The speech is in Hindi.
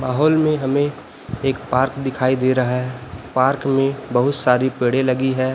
माहौल में हमें एक पार्क दिखाई दे रहा है पार्क में बहुत सारी पेड़े लगी है।